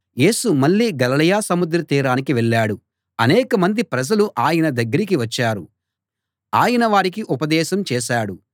యేసు మళ్లీ గలిలయ సముద్ర తీరానికి వెళ్ళాడు అనేక మంది ప్రజలు ఆయన దగ్గరికి వచ్చారు ఆయన వారికి ఉపదేశం చేశాడు